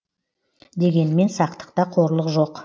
дегенмен сақтықта қорлық жоқ